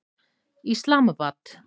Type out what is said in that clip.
Islamabad